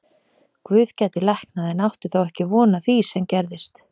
Guð gæti læknað en átti þó ekki von á því sem gerðist.